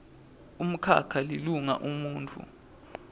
umkhakha lilunga umuntfu